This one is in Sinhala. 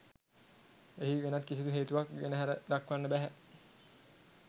එහි වෙනත් කිසිදු හේතුවක් ගෙන හැර දක්වන්න බැහැ